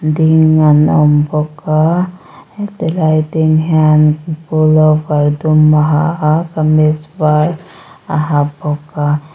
ding an awm bawk a he tilai ding hian pullover dum a ha a kamis var a ha bawk a.